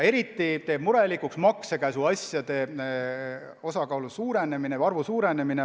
Eriti teeb murelikuks maksekäsuasjade arvu suurenemine.